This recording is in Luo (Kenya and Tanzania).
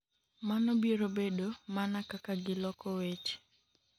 mano biro bedo mana kaka gi loko weche